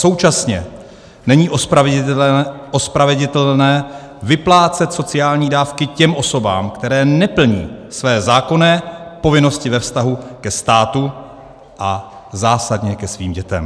Současně není ospravedlnitelné vyplácet sociální dávky těm osobám, které neplní své zákonné povinnosti ve vztahu ke státu a zásadně ke svým dětem.